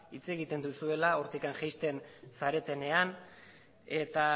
hitz egiten duzuela hortik jaisten zaretenean eta